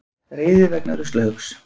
Reiði vegna ruslahaugs